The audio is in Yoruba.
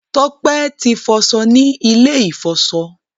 Tope tí foso ní ilè ifọṣọ.